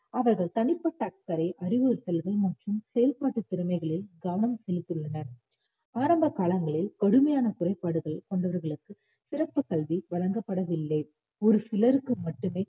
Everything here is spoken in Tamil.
அவர்கள் தனிப்பட்ட அக்கறை அறிவுறுத்தல்கள் மற்றும் செயல்பாட்டுத் திறமைகளில் கவனம் செலுத்தியுள்ளனர் ஆரம்பகாலங்களில் கடுமையான குறைபாடுகள் கொண்டவர்களுக்கு சிறப்பு கல்வி வழங்கப்படவில்லை ஒரு சிலருக்கு மட்டுமே